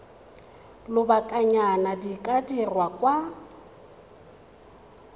lobakanyana di ka dirwa kwa